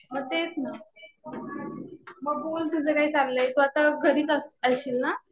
मग तेच ना. मग बोल तुझं काय चाललंय. तू आता घरीच असशील ना.